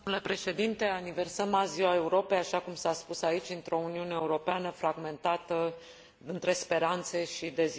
Aniversăm azi Ziua Europei, așa cum s a spus aici, într o Uniune Europeană fragmentată între speranțe și deziluzii.